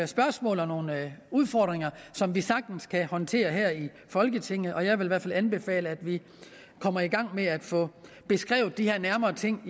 spørgsmål og nogle udfordringer som vi sagtens kan håndtere her i folketinget og jeg vil i hvert fald anbefale at vi kommer i gang med at få beskrevet de her ting